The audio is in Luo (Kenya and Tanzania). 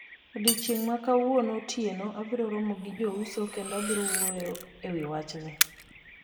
Odiechieng' ma kawuono otieno abiro romo gi jouso kendo wabiro wuoyo ewi wachni.